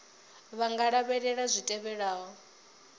vha nga lavhelela zwi tevhelaho